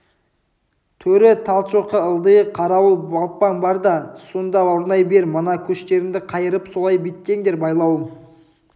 төрі талшоқы ылдиы қарауыл балпаң бар да сонда орнай бер мына көштеріңді қайырып солай беттеңдер байлауым